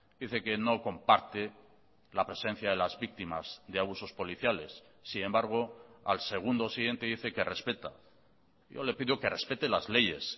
dice que no comparte la presencia de las víctimas de abusos policiales sin embargo al segundo siguiente dice que respeta yo le pido que respete las leyes